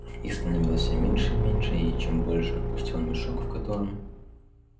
их становилось все меньше и меньше и чем больше пустел мешок в котором